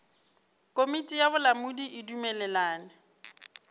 komiti ya bolamodi e dumelelana